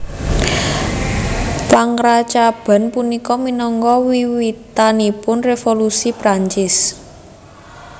Pangrancaban punika minangka wiwitanipun Révolusi Perancis